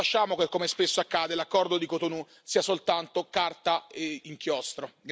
Non lasciamo che, come spesso accade, l'accordo di Cotonou sia soltanto carta e inchiostro.